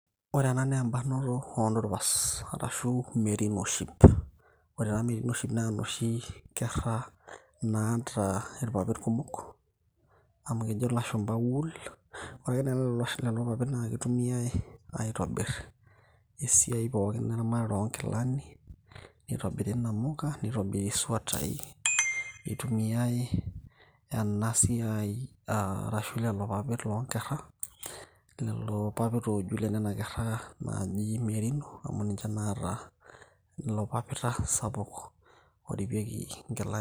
Ore ena na ebarnoto odupas, arashu merino sheep. Ore ena merino sheep na enoshi kerra naata irpapit kumok, amu kejo ilashumpa wool. Ore ake nai lelo papit na kitumiai aitobir esiai pookin eramatata onkilani, nitobiri namuka, nitobiri eswatai, itumiai enasiai ah arashu lelo papit lonkerra, lelo papit ooju lenana kerra naji merino ,amu ninche naata ilo papita sapuk oripieki nkilani.